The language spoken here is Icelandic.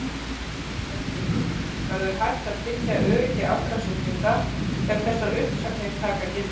Höskuldur: Verður hægt að tryggja öryggi allra sjúklinga ef þessar uppsagnir taka gildi?